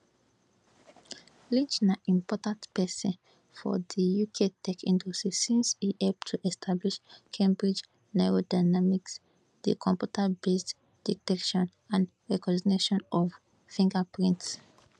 lynch na important pesin for di uk tech industry since e help to establish cambridge neurodynamics di computerbased detection and recognition of fingerprints